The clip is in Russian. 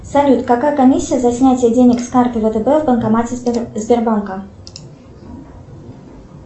салют какая комиссия за снятие денег с карты втб в банкомате сбербанка